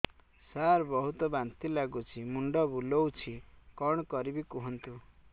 ସାର ବହୁତ ବାନ୍ତି ଲାଗୁଛି ମୁଣ୍ଡ ବୁଲୋଉଛି କଣ କରିବି କୁହନ୍ତୁ